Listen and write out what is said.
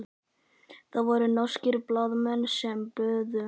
Það voru norskir blaðamenn sem buðu.